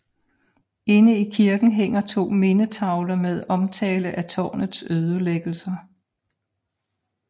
Inde i kirken hænger 2 mindetavler med omtale af tårnets ødelæggelser